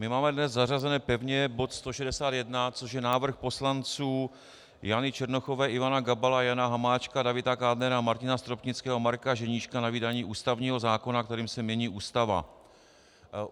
My máme dnes zařazený pevně bod 161, což je návrh poslanců Jany Černochové, Ivana Gabala, Jana Hamáčka, Davida Kádnera, Martina Stropnického, Marka Ženíška na vydání ústavního zákona, kterým se mění Ústava.